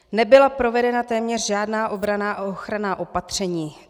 Nebyla provedena téměř žádná obranná a ochranná opatření.